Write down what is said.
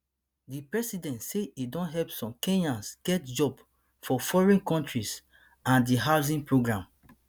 di president say e don help some kenyans get jobs for foreign countries and di housing program